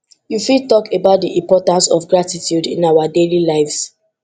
you fit talk about di importance of gratitude in our daily lives